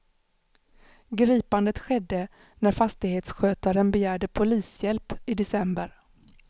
Gripandet skedde när fastighetsskötaren begärde polishjälp i december.